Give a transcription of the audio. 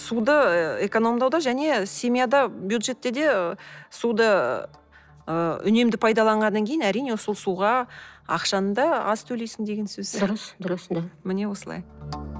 суды экономдауда және семьяда бюджетте де суды ы үнемді пайдаланғаннан кейін әрине сол суға ақшаны да аз төлейсің деген сөз дұрыс дұрыс да міне осылай